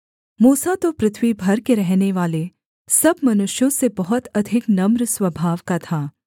मूसा तो पृथ्वी भर के रहनेवाले सब मनुष्यों से बहुत अधिक नम्र स्वभाव का था